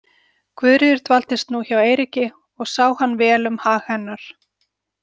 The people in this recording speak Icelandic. Guðríður dvaldist nú hjá Eiríki og sá hann vel um hag hennar.